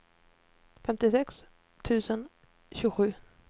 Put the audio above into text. femtiosex tusen tjugosju